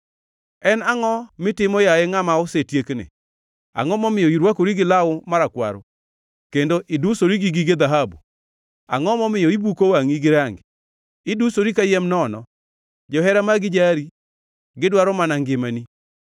En angʼo mitimo, yaye ngʼama osetiekni? Angʼo momiyo irwakori gi law marakwaro kendo idusori gi gige dhahabu? Angʼo momiyo ibuko wangʼi gi rangi. Idusori kayiem nono. Johera magi jari; gidwaro mana ngimani.